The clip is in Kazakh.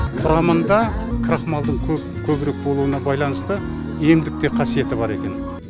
құрамында крахмалдың көп көбірек болуына байланысты емдік те қасиеті бар екен